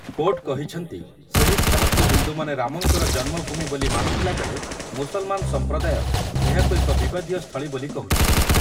Court କହିଛନ୍ତି, ସେହି ସ୍ଥାନକୁ ହିନ୍ଦୁମାନେ ରାମଙ୍କର ଜନ୍ମଭୂମି ବୋଲି ମାନୁଥିଲାବେଳେ ମୁସଲ୍‌ମାନ ସମ୍ପ୍ରଦାୟ ଏହାକୁ ଏକ ବିବାଦୀୟ ସ୍ଥଳୀ ବୋଲି କହୁଛି ।